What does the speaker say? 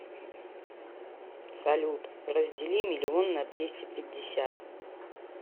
салют раздели миллион на двести пятьдесят